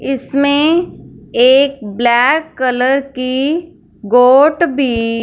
इसमें एक black colour की गोट भी--